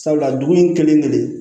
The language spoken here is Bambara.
Sabula dugu in kelen kelen kelen